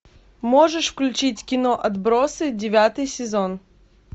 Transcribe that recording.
можешь включить кино отбросы девятый сезон